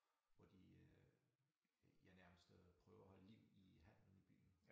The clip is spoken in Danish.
Hvor de øh ja nærmest øh prøver at holde liv i handlen i byen